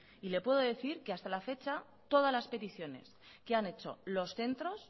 y le puedo decir que hasta la fecha todas las peticiones que han hecho los centros